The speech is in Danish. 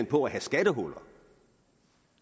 på at have skattehuller